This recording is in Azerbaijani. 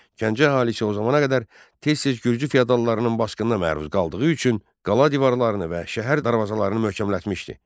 Gəncə əhalisi o zamana qədər tez-tez gürcü feodallarının basqınına məruz qaldığı üçün qala divarlarını və şəhər darvazalarını möhkəmlətmişdi.